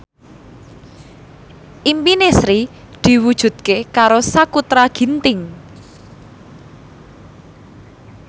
impine Sri diwujudke karo Sakutra Ginting